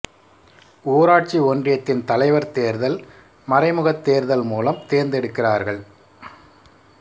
ஊராட்சி ஒன்றியத்தின் தலைவர் தேர்தல் மறைமுகத் தேர்தல் மூலம் தேர்ந்தெடுக்கிறார்கள்